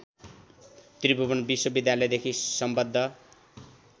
त्रिभुवन विश्वविद्यालयदेखि सम्बद्ध